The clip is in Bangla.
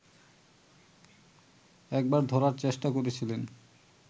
একবার ধরার চেষ্টা করেছিলেন